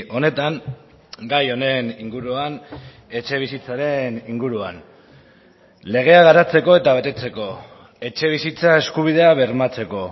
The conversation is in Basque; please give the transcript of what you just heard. honetan gai honen inguruan etxebizitzaren inguruan legea garatzeko eta betetzeko etxebizitza eskubidea bermatzeko